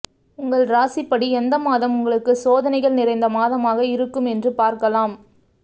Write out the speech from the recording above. உங்கள் ராசிப்படி எந்த மாதம் உங்களுக்கு சோதனைகள் நிறைந்த மாதமாக இருக்கும் என்று பார்க்கலாம்